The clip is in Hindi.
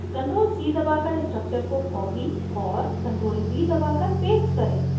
ctrl + c दबाकर structure को copy और ctrl + v दबाकर paste करें